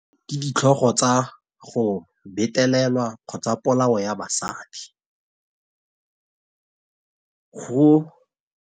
Ke ditlhogo tsa go betelelwa, kgotsa polao ya basadi, go.